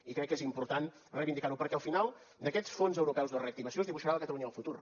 i crec que és important reivindicar ho perquè al final d’aquests fons europeus de reactivació es dibuixarà la catalunya del futur